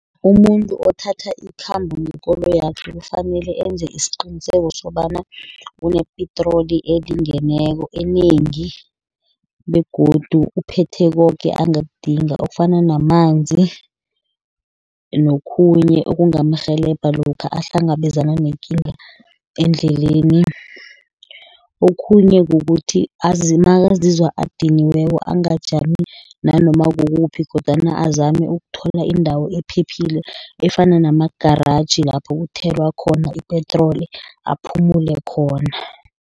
Umuntu othatha ikhambo ngekoloyi yakhe, kufanele enze isiqiniseko sobana unepetroli elingeneko enengi, begodu uphethe koke angakudinga, okufana namanzi, nokhunye okungamrheleba lokha ahlangabezana nekinga endleleni. Okhunye kukuthi nakazizwa adiniweko angajami nanoma kukuphi, kodwana azame ukuthola indawo ephephile efana nama-garage lapho kuthelwa khona ipetroli aphumele khona.